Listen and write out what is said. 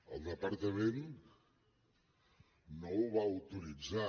el departament no ho va autoritzar